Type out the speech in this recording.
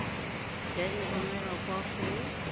ya e romela kwa go